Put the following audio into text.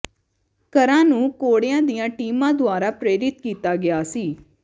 ਘਰਾਂ ਨੂੰ ਘੋੜਿਆਂ ਦੀਆਂ ਟੀਮਾਂ ਦੁਆਰਾ ਪ੍ਰੇਰਿਤ ਕੀਤਾ ਗਿਆ ਸੀ